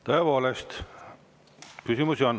Tõepoolest, küsimusi on.